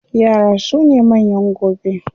Yara sune manyan gobe.